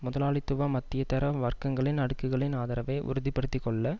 முதலாளித்துவ மத்தியதர வர்க்கங்களின் அடுக்குகளின் ஆதரவை உறுதிபடுத்திக்கொள்ள